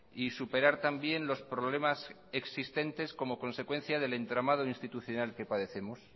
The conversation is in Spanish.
y superar también los problemas existentes como consecuencia del entramado institucional que padecemos